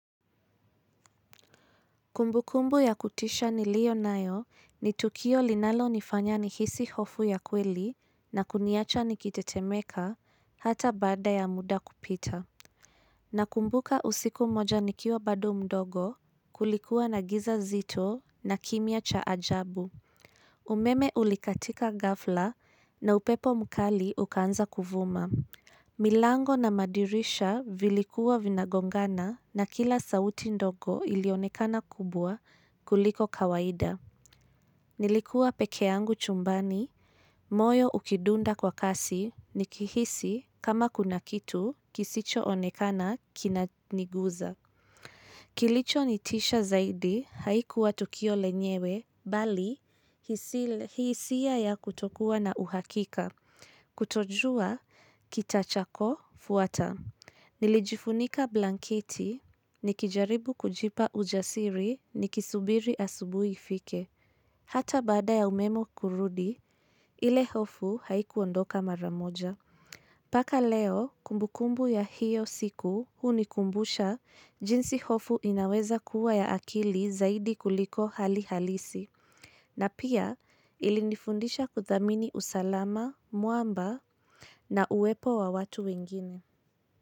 Kumbukumbu ya kutisha niliyonayo ni tukio linalonifanya nihisi hofu ya kweli na kuniacha nikitetemeka hata baada ya muda kupita. Nakumbuka usiku moja nikiwa bado mdogo kulikuwa na giza zito na kimya cha ajabu. Umeme ulikatika gafla na upepo mkali ukaanza kuvuma. Milango na madirisha vilikuwa vinagongana na kila sauti ndogo ilionekana kubwa kuliko kawaida. Nilikuwa pekeangu chumbani, moyo ukidunda kwa kasi nikihisi kama kuna kitu kisichoonekana kina niguza. Kilicho nitisha zaidi haikuwa tukio lenyewe bali hisia ya kutokuwa na uhakika. Kutojua, kitachakofuata. Nilijifunika blanketi, nikijaribu kujipa ujasiri nikisubiri asubui ifike. Hata baada ya umemo kurudi, ile hofu haikuondoka maramoja. Paka leo kumbukumbu ya hiyo siku hunikumbusha jinsi hofu inaweza kuwa ya akili zaidi kuliko hali halisi na pia ilinifundisha kuthamini usalama, muamba na uwepo wa watu wengine.